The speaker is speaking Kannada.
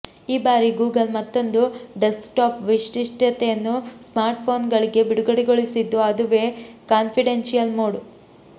ಈ ಬಾರಿ ಗೂಗಲ್ ಮತ್ತೊಂದು ಡೆಸ್ಕ್ ಟಾಪ್ ವೈಶಿಷ್ಟ್ಯತೆಯನ್ನು ಸ್ಮಾರ್ಟ್ ಫೋನ್ ಗಳಿಗೆ ಬಿಡುಗಡೆಗೊಳಿಸಿದ್ದು ಅದುವೇ ಕಾನ್ಫಿಡೆನ್ಶಿಯಲ್ ಮೋಡ್